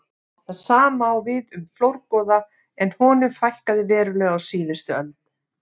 Það sama á við um flórgoða en honum fækkaði verulega á síðustu öld.